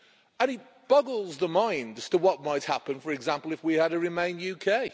It boggles the mind as to what might happen, for example, if we had a remain' UK.